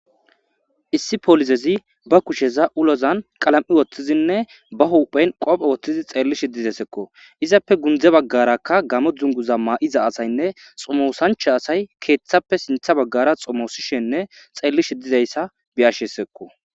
Issi poolizezi ba kusheza ulozan qalam7i woththizinne ba hupheyn qoophe woththizi xeellishi dizesekko. Izappe gundze baggarakka gamo dzunguza ma7iza asaynne xomosancha asay keeththappe sintha baggara xomosishenne xeellishe dizayssa be7ashesekko.